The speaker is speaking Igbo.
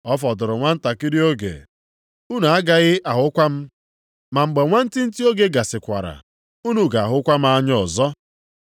“Ọ fọdụrụ nwantakịrị oge unu agaghị ahụkwa m. Ma mgbe nwantịntị oge gasịkwara, unu ga-ahụkwa m anya ọzọ.”